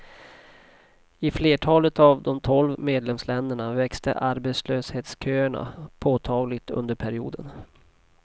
I flertalet av de tolv medlemsländerna växte arbetslöshetsköerna påtagligt under perioden.